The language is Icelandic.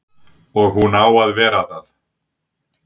Og hún á að vera það.